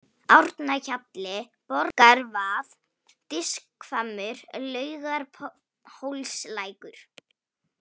Árnahjalli, Borgarvað, Diskhvammur, Laugarhólslækur